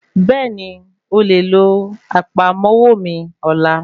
Bẹ́ẹ̀nì,o lè lo àpamọ́wọ́ mí ọlá.